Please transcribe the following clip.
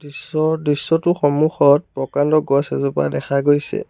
দৃশ্য দৃশ্যটোৰ সন্মুখত প্ৰকাণ্ড গছ এজোপা দেখা গৈছে।